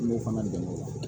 N b'o fana dɛmɛ o la